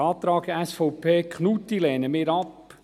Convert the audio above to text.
Den Antrag SVP/Knutti lehnen wir ab.